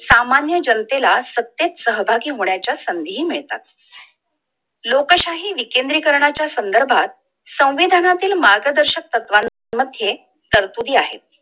सामान्य जनतेला सत्तेत सहभागी होण्याचा संधी हि मिळतात! लोकशाही विकेंद्रीकरणाच्या संदर्भात संविधानातील मार्गदर्शक तत्वांमध्ये तरतुरी आहे!